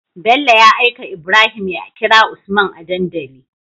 Bello ya aika ibrahim ya kira usman a dandali